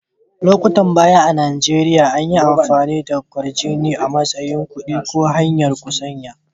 Lokutan baya a'Nijeriya, anyi amfani da kwarjini a'matsayin kudi ko hanya'n musanya.